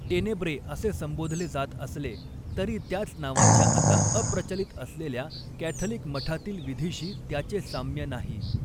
Tenebrae असे संबोधले जात असले तरी त्याच नावाच्या आता अप्रचलित असलेल्या कॅथलिक मठातील विधीशी त्याचे साम्य नाही.